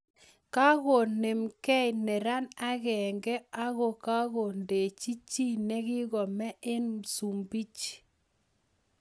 Kakoneem gei neran agenge akogandachi chi negikomee eng Msumbiji